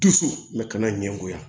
Dusu ka na ɲɛgoya